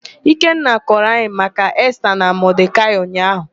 Ikenna kọrọ anyị maka Esta na Modekaị ụnyaahụ.